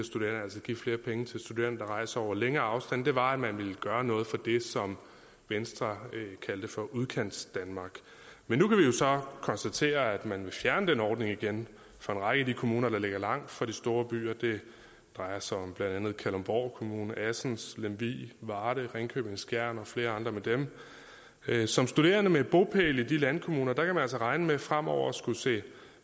give flere penge til studerende der rejser over længere afstande var at man ville gøre noget for det som venstre kaldte for udkantsdanmark men nu kan vi jo så konstatere at man vil fjerne den ordning igen fra en række af de kommuner der ligger langt fra de store byer det drejer sig om blandt andet kalundborg kommune assens lemvig varde ringkøbing skjern og flere andre med dem som studerende med bopæl i de landkommuner kan man altså regne med fremover at skulle se